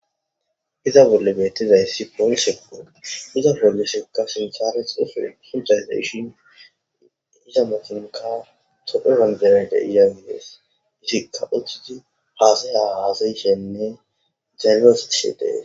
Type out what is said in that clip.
Iza bolla bettizaysi polisekko gotta poliseko ika hasaya hasayishe de'es.